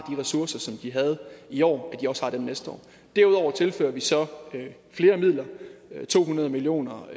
ressourcer som de havde i år derudover tilfører vi så flere midler to hundrede million kroner